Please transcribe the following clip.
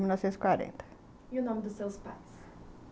E o nome dos seus pais?